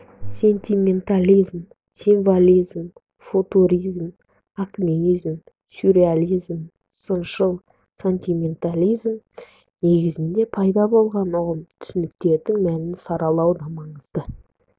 сентиментализм символизм футуризм акмеизм сюрреализм сыншыл сентиментализм негізінде пайда болған ұғым-түсініктердің мәнін саралаудың да маңызы